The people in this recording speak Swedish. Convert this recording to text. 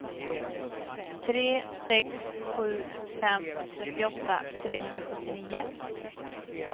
tre sex sju fem trettioåtta trehundrasjuttionio